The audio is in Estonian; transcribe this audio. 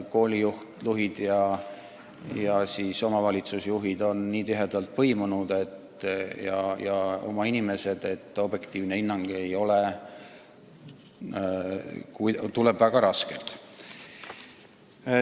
Koolijuhid ja omavalitsusjuhid on nii tihedalt põimunud, kõik on omad inimesed, nii et objektiivne hinnang tuleb väga raskelt.